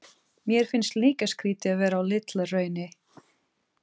Mér finnst líka skrýtið að vera á Litla-Hrauni.